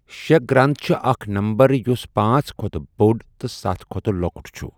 شےٚ گرنٛد چِھ اَکھ نَمبَر یُس پانژھ کھۄتہٕ بۆڈ تہٕ ستَھ کھۄتہٕ لۄکُٹ چُھ۔